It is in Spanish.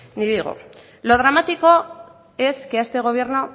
ni digo lo dramático es que a este gobierno